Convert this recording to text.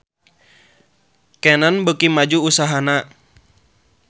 Canon beuki maju usahana